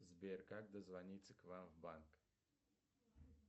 сбер как дозвониться к вам в банк